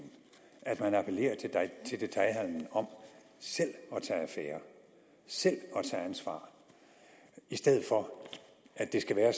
at man appellerer til detailhandelen om selv at tage affære selv at tage ansvar i stedet for at det skal være